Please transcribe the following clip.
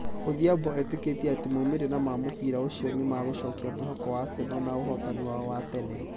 Odhiambo etĩkĩtie atĩ maũmirĩra ma mũbira ũcio nĩ magũcokia mwĩhoko wa Arsenal na ũhotani wao wa tene.